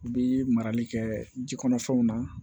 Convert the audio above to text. U bi marali kɛ ji kɔnɔ fɛnw na